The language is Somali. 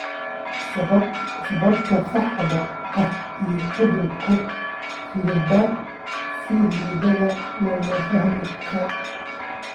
Sababta saxda ah ee cudurka Freiberg si liidata looma fahmin.